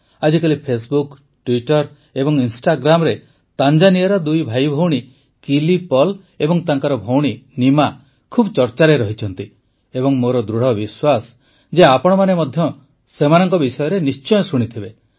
ଆଜିକାଲି Facebook Twitter ଏବଂ ଇନଷ୍ଟାଗ୍ରାମରେ ତାଞ୍ଜାନିଆର ଦୁଇ ଭାଇଭଉଣୀ କିଲି ପଲ୍ ଏବଂ ତାଙ୍କ ଭଉଣୀ ନିମା ଖୁବ୍ ଚର୍ଚ୍ଚାରେ ରହିଛନ୍ତି ଏବଂ ମୋର ଦୃଢ଼ବିଶ୍ୱାସ ଯେ ଆପଣମାନେ ମଧ୍ୟ ସେମାନଙ୍କ ବିଷୟରେ ନିଶ୍ଚୟ ଶୁଣିଥିବେ